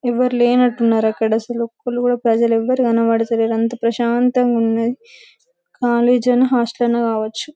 ఎవ్వరు లేనట్టున్నారు అక్కడ ఒక్కరు కూడా ప్రజలు ఎవ్వరు కనపడ్తలేదు అంత ప్రశాంతంగా ఉన్నదీ కాలేజీ అయినా హాస్టల్ అయినా కావొచ్చు